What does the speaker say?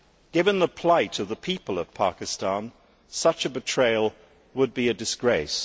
Given the plight of the people of Pakistan, such a betrayal would be a disgrace.